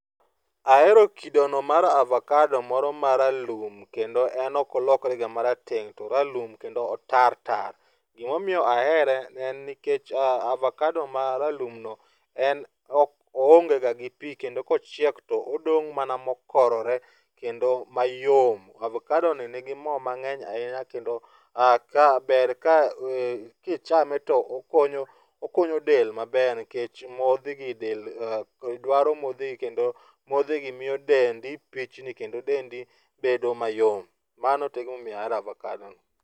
Ahero kidono mar avakado moro maralum, kendo en ok olokrega marateng',to oralum kendo otar tar. Gimomiyo ahere en nikech avakado maralumno en oonge ga gi pi kendo kochiek to odong' mana mokorore kendo mayom. Avakadoni nigi mor ahinya kendo ber ka ,kichame to okonyo del maber nikech modhigi del dwaro modhigi kendo modhigi miyo dendi pichni kendo dendi bedo mayom. Mano e gimomiyo ahero avakadono.